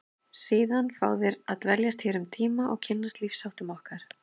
Síðan fá þeir að dveljast hér um tíma og kynnast lífsháttum okkar.